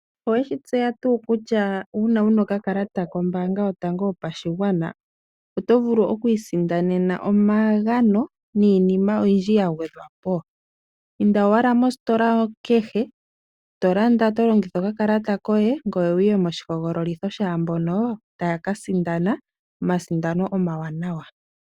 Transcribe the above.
Oweshi tseya tuu kutya una wuna okakalata kombanga yotango yopashigwana oto vulu oku isindanena omagano niinima oyindji ya gwedhwapo? Inda owala mositola kehe to landa to longitha okakalata koye ngoye wuye moshihogololitho shaa mbono tayaka sindana omasindano omawanawa.